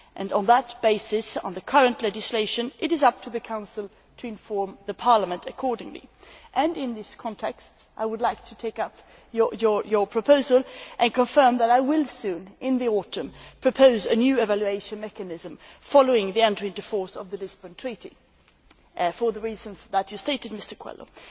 On that basis, and under current legislation, it is up to the Council to inform Parliament accordingly. In this context, I would like to take up your proposal and confirm that I will soon, in the autumn, propose a new evaluation mechanism following the entry into force of the Lisbon Treaty for the reasons that you stated, Mr Coelho.